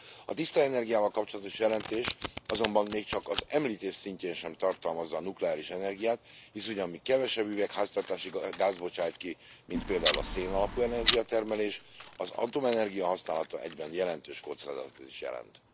A tiszta energiával kapcsolatos jelentés azonban még csak az említés szintjén sem tartalmazza a nukleáris energiát, hisz ugye amíg kevesebb üvegházhatású gázt bocsát ki, mint például a szénalapú energiatermelés, az atomenergia használata egyben jelentős kockázatot is jelent.